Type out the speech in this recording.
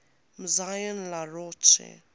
maison la roche